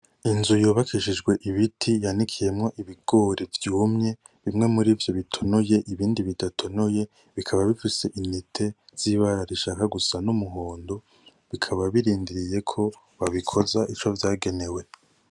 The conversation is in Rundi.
Inzu yubakishijwe ibiti yanikiyemwo ibigori vyumye, bimwe murivyo bitonoye ibindi bidatonoye, bikaba bifise intete z'ibara rishaka gusa n'umuhondo, bikaba birindiriye ko babikoza ico vyagenewe.